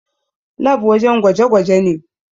Lab wajen gwaje gwaje ne